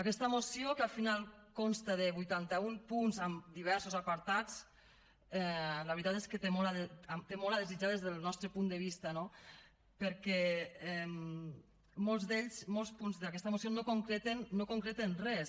aquesta moció que al final consta de vuitanta un punts amb diversos apartats la veritat és que té molt a desitjar des del nostre punt de vista no perquè molts d’ells molts punts d’aquesta moció no concreten res